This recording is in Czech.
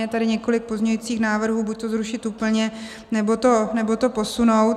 Je tady několik pozměňujících návrhů, buď to zrušit úplně, nebo to posunout.